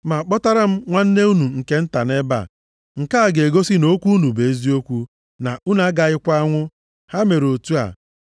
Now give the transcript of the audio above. Ma kpọtaranụ m nwanne unu nke nta nʼebe a, nke a ga-egosi na okwu unu bụ eziokwu, na unu agaghịkwa anwụ.” Ha mere otu a.